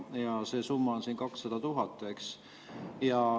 Ja see summa on siin 200 000 eurot.